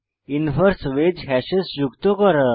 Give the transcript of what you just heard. inverse ways hashes যোগ করা